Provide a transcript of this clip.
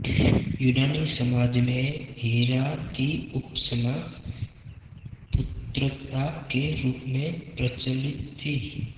यूनानी समाज में हिरा की उपासना पुत्रदा के रूप में प्रचलित थी